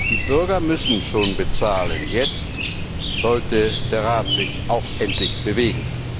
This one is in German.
die Bürger müssen schon bezahlen, jetzt sollte der Rat sich auch endlich bewegen.